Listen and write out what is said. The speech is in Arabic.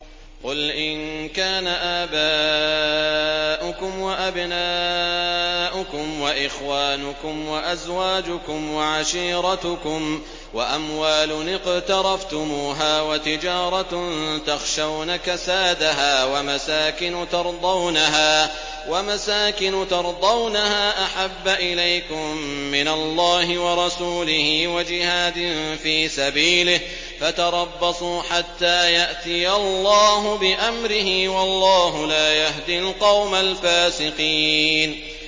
قُلْ إِن كَانَ آبَاؤُكُمْ وَأَبْنَاؤُكُمْ وَإِخْوَانُكُمْ وَأَزْوَاجُكُمْ وَعَشِيرَتُكُمْ وَأَمْوَالٌ اقْتَرَفْتُمُوهَا وَتِجَارَةٌ تَخْشَوْنَ كَسَادَهَا وَمَسَاكِنُ تَرْضَوْنَهَا أَحَبَّ إِلَيْكُم مِّنَ اللَّهِ وَرَسُولِهِ وَجِهَادٍ فِي سَبِيلِهِ فَتَرَبَّصُوا حَتَّىٰ يَأْتِيَ اللَّهُ بِأَمْرِهِ ۗ وَاللَّهُ لَا يَهْدِي الْقَوْمَ الْفَاسِقِينَ